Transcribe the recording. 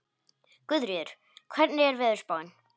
Guðríður, hvernig er veðurspáin?